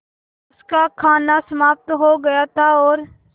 उनका खाना समाप्त हो गया था और